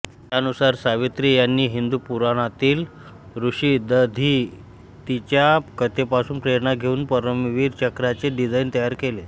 त्यानुसार सावित्री यांनी हिंदू पुराणांतील ऋषी दधीचीच्या कथेपासून प्रेरणा घेऊन परमवीर चक्राचे डिझाईन तयार केले